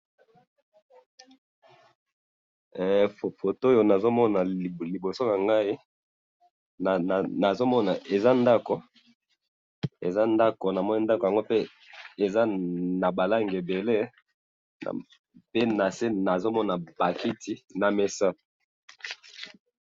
photo oyo nazo mona liboso nanga nazomona eza ndako namoni ndaku namoni ndako yango eza na ba langi ebele pe nase eza naba kiti na mesa